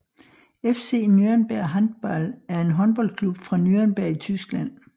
FC Nürnberg Handball er en håndboldklub fra Nürnberg i Tyskland